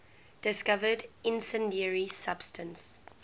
discovered incendiary substance